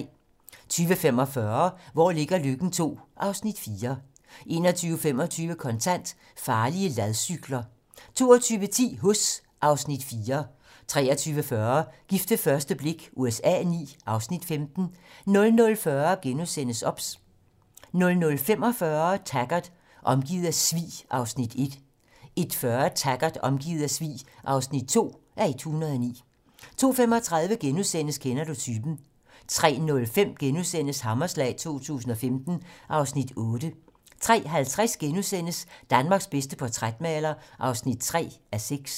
20:45: Hvor ligger Løkken II (Afs. 4) 21:25: Kontant: Farlige ladcykler 22:10: Huss (Afs. 4) 23:40: Gift ved første blik USA IX (Afs. 15) 00:40: OBS * 00:45: Taggart: Omgivet af svig (1:109) 01:40: Taggart: Omgivet af svig (2:109) 02:35: Kender du typen? * 03:05: Hammerslag 2015 (Afs. 8)* 03:50: Danmarks bedste portrætmaler (3:6)*